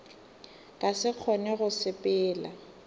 ka se kgone go sepela